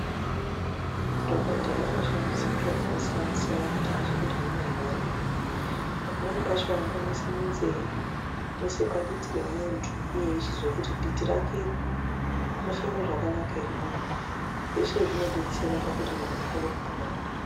Madhokodheya ankshandisa zviro zvakasiyana siyana kuti azwe kuti muntu unorwara ere. Pamweni pacho vanoise munzeye, voise paditi remuntu, vochizwe kuti diti rake rinofeme zvakanaka ere muntu uyu, zveshe zvinodetsera kuti muntu akone kupora.